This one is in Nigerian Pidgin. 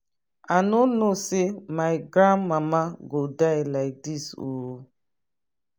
i no know say my grand mama go die like dis ooo.